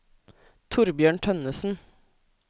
Thorbjørn Tønnesen